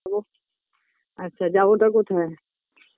Hello আচ্ছা যাবোটা কোথায়